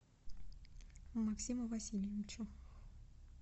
максиму васильевичу